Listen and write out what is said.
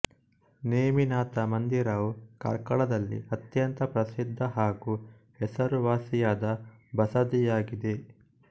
ನೇಮಿನಾಥ ಮಂದಿರವು ಕಾರ್ಕಳದಲ್ಲಿ ಅತ್ಯಂತ ಪ್ರಸಿದ್ಧ ಹಾಗೂ ಹೆಸರುವಾಸಿಯಾದ ಬಸದಿಯಾಗಿದೆ